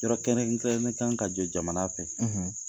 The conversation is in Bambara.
Yɔrɔ kɛrɛnkɛrɛnnen kan ka jɔ jamana fɛ.